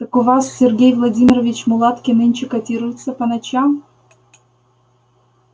так у вас сергей владимирович мулатки нынче котируются по ночам